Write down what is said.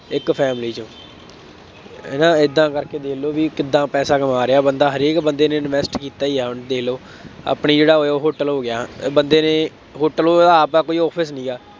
ਇੱਕ family ਚੋਂ ਹੈ ਨਾ ਏਦਾਂ ਕਰਕੇ ਦੇਖ ਲਉ ਬਈ ਕਿਦਾਂ ਪੈਸਾ ਕਮਾ ਰਿਹਾ ਬੰਦਾ, ਹਰੇਕ ਬੰਦੇ ਨੇ invest ਕੀਤਾ ਹੀ ਹੈ, ਹੁਣ ਦੇਖ ਲਉ, ਆਪਣੀ ਜਿਹੜਾ Oyo ਹੋਟਲ ਹੋ ਗਿਆ, ਬੰਦੇ ਨੇ ਹੋਟਲ ਉਹਦਾ ਆਪਦਾ ਕੋਈ office ਨਹੀਂ ਹੈਗਾ।